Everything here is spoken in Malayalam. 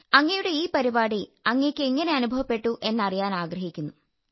അങ്ങയുടെ ഈ പരിപാടി അങ്ങയ്ക്ക് എങ്ങനെ അനുഭവപ്പെട്ടു എന്നറിയാനാഗ്രഹിക്കുന്നു